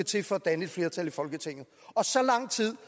til for at danne et flertal i folketinget så lang tid